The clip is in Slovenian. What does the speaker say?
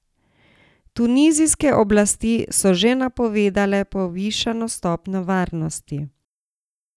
Tunizijske oblasti so že napovedale povišano stopnjo varnosti.